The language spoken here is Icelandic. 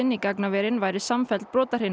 í gagnaverin væru samfelld